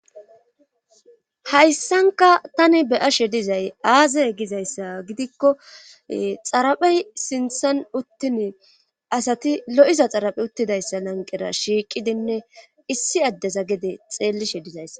hayssanka tani beyashe dizay aazay gizayssa gidikko xaraphey sinthan uttini asati lo7iza xaraphe uttidayssa lanqera shiiqidinne issi addeza gede xeellishe dizayssa